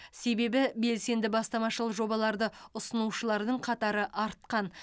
себебі белсенді бастамашыл жобаларды ұсынушылардың қатары артқан